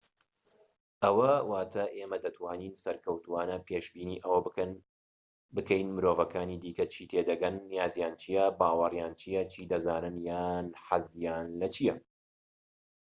ئەوە واتە ئێمە دەتوانین سەرکەوتووانە پێشبینی ئەوە بکەین مرۆڤەکانی دیکە چی تێدەگەن نیازیان چیە باوەڕیان چیە چی دەزانن یان حەزیان لە چیە